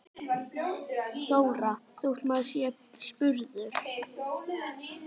Þóra: Þótt maður sé spurður?